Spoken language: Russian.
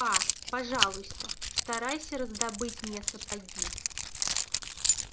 аа пожалуйста постарайся раздобыть мне сапоги